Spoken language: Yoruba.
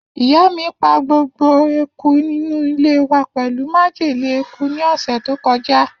Iya mi pa gbogbo eku inu ile wa pelu majele eku ni ose to koja.